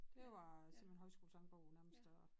Det var simpelthen højskolesangbogen nærmest og